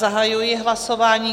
Zahajuji hlasování.